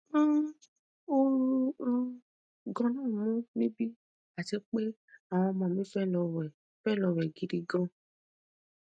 um ooru um ganan mu níbí àti pé àwọn ọmọ mi fe lo we fe lo we gidi gan